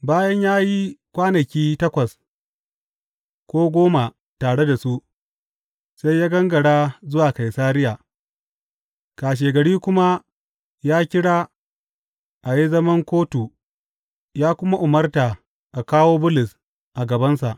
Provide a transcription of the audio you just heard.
Bayan ya yi kwanaki takwas ko goma tare da su, sai ya gangara zuwa Kaisariya, kashegari kuma ya kira a yi zaman kotu ya kuma umarta a kawo Bulus a gabansa.